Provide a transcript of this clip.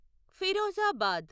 Firozabad